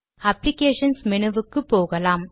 applications மெனுவுக்கு போகலாம்